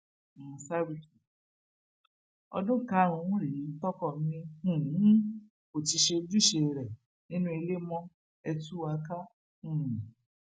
mọǹṣàrútù ọdún karùnún rèé tọkọ mi um kò ti ṣojúṣe rẹ nínú ilé mo ẹ tú wa ká um